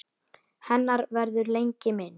Hennar verður lengi minnst.